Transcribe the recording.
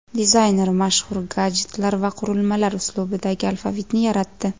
Dizayner mashhur gadjetlar va qurilmalar uslubidagi alfavitni yaratdi .